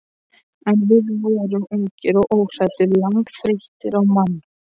En við vorum ungir og óhræddir, langþreyttir á mann